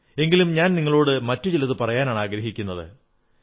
എങ്കിലും ഞാൻ നിങ്ങളോടു മറ്റു ചിലതാണു പറയാനാഗ്രഹിക്കുന്നത്